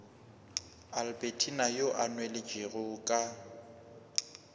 albertina yo a nweletšego ka